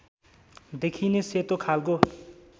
देखिने सेतो खालको